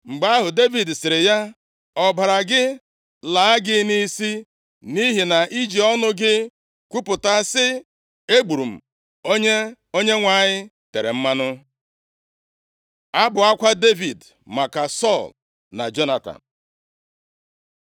Mgbe ahụ Devid sịrị ya, “Ọbara gị laa gị nʼisi, nʼihi na ị ji ọnụ gị kwupụta sị, ‘Egburu m onye Onyenwe anyị tere mmanụ.’ ” Abụ akwa Devid maka Sọl na Jonatan